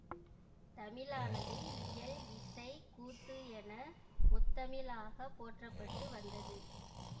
தமிழானது இயல் இசை கூத்து என முத்தமிழாகப் போற்றப்பட்டு வந்தது